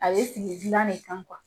A bɛ sigi gilan de kan.